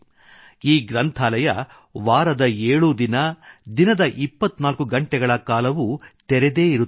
ಈ ಗ್ರಂಥಾಲಯ ವಾರದ ಏಳೂ ದಿನ ದಿನದ ಇಪ್ಪತ್ನಾಲ್ಕು ಗಂಟೆಗಳ ಕಾಲವೂ ತೆರೆದೇ ಇರುತ್ತದೆ